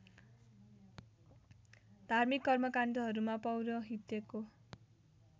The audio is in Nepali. धार्मिक कर्मकाण्डहरूमा पौरोहित्यको